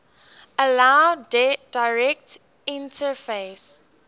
allow direct interface